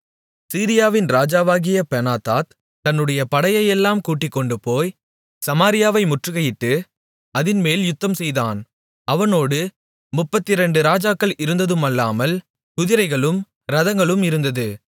சீரியாவின் ராஜாவாகிய பெனாதாத் தன்னுடைய படையையெல்லாம் கூட்டிக்கொண்டுபோய் சமாரியாவை முற்றுகையிட்டு அதின்மேல் யுத்தம்செய்தான் அவனோடு முப்பத்திரண்டு ராஜாக்கள் இருந்ததுமல்லாமல் குதிரைகளும் இரதங்களும் இருந்தது